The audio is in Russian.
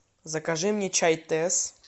закажи мне чай тесс